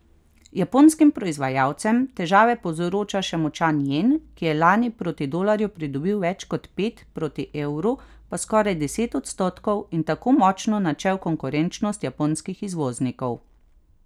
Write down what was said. Japonskim proizvajalcem težave povzroča še močan jen, ki je lani proti dolarju pridobil več kot pet, proti evru pa skoraj deset odstotkov in tako močno načel konkurenčnost japonskih izvoznikov.